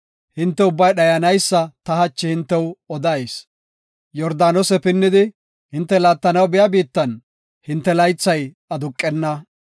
hinte ubbay dhayanaysa ta hachi hintew odayis. Yordaanose pinnidi hinte laattanaw biya biittan hinte laythay aduqenna.